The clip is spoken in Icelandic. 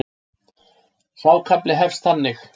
Sá kafli hefst þannig